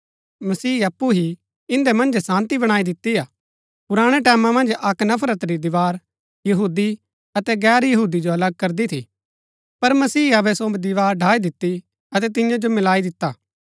मसीह अप्पु ही इन्दै मन्जै शान्ती बणाई दिती हा पुराणै टैमां मन्ज अक्क नफरत री दीवार यहूदी अतै गैर यहूदी जो अलग करदी थी पर मसीह अबै सो दीवार ढ़ाई दिती अतै तिन्या जो मिलाई दिता